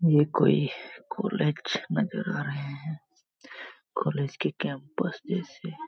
यह कोई कॉलेज लग रहा है कॉलेज के कैंपस जैसे --